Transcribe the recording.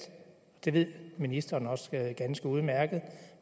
det ved ministeren også ganske udmærket